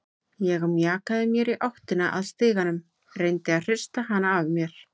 Ég mjakaði mér í áttina að stiganum, reyndi að hrista hana af mér.